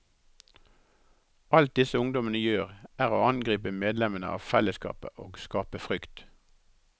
Alt disse ungdommene gjør, er å angripe medlemmene av fellesskapet og skape frykt.